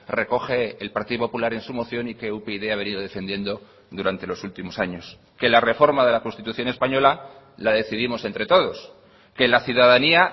recoge el partido popular en su moción y que upyd ha venido defendiendo durante los últimos años que la reforma de la constitución española la decidimos entre todos que la ciudadanía